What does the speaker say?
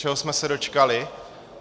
Čeho jsme se dočkali?